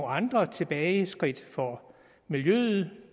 andre tilbageskridt for miljøet